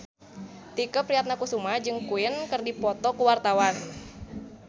Tike Priatnakusuma jeung Queen keur dipoto ku wartawan